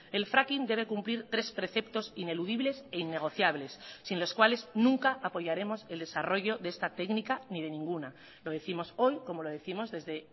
el fracking debe cumplir tres preceptos ineludibles e innegociables sin los cuales nunca apoyaremos el desarrollo de esta técnica ni de ninguna lo décimos hoy como lo décimos desde